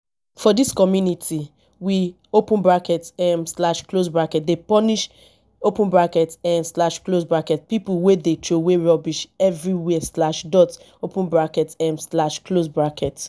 for dis community we um dey punish um pipo wey dey troway rubbish everywhere. um